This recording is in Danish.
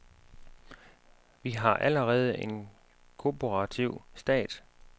Vi har allerede en korporativ stat.